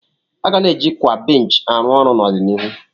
A ga na-eji kwa benchi ọrụ arụ ọrụ n'ọdịnihu.